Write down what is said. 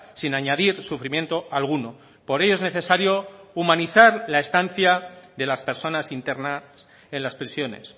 sin añadir sufrimiento alguno por ello es necesario humanizar la estancia de las personas internas en las prisiones